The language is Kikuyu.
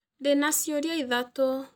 Ndĩna ciũria ithatũ.